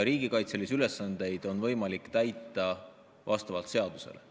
Riigikaitselisi ülesandeid on võimalik täita vastavalt seadusele.